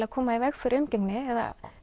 að koma í veg fyrir umgengni eða